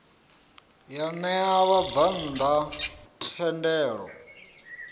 ya ṋea vhabvann ḓa thendelo